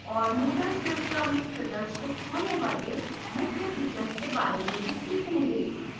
moodle श्रृंखला में प्रदर्शिक होने वाले मुख्य फीचर्स के बारे में भी सीखेंगे